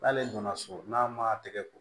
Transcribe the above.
N'ale donna so n'a ma tɛgɛ ko